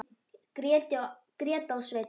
Gréta og Sveinn.